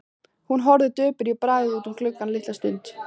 Hún horfði döpur í bragði út um gluggann litla stund.